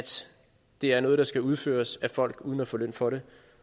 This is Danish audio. det er noget der skal udføres af folk uden at få løn for det